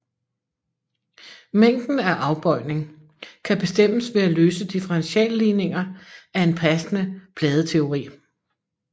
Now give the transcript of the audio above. Mængden af afbøjning kan bestemmes ved at løse differentialligninger af en passende pladeteori